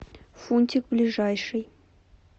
фунтик ближайший